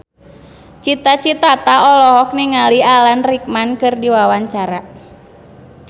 Cita Citata olohok ningali Alan Rickman keur diwawancara